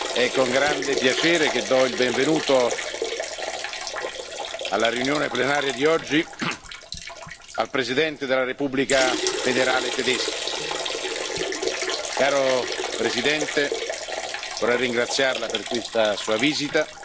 è con grande piacere che do il benvenuto alla seduta plenaria di oggi al Presidente della Repubblica federale di Germania. Caro Presidente, vorrei ringraziarLa per questa Sua visita.